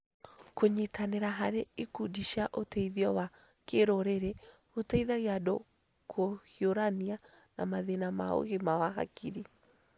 Kũnyitanĩra harĩ ikundi cia ũteithio wa kĩrũrĩrĩ gũteithagia andũ kũhiũrania na mathĩna ma ũgima wa hakiri.